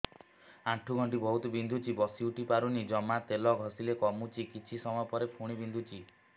ଆଣ୍ଠୁଗଣ୍ଠି ବହୁତ ବିନ୍ଧୁଛି ବସିଉଠି ପାରୁନି ଜମା ତେଲ ଘଷିଲେ କମୁଛି କିଛି ସମୟ ପରେ ପୁଣି ବିନ୍ଧୁଛି